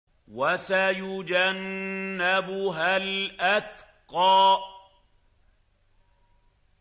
وَسَيُجَنَّبُهَا الْأَتْقَى